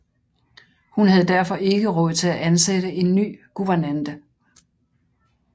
Hun havde derfor ikke råd til at ansætte en ny guvernante